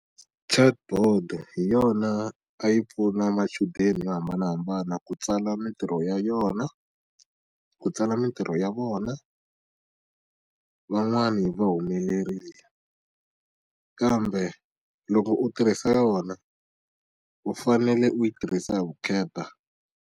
Chat board-o hi yona a yi pfuna machudeni yo hambanahambana ku tsala mitirho ya yona, ku tsala mitirho ya vona. Van'wani va humelerile. Kambe loko u tirhisa yona, u fanele u yi tirhisa hi vukheta.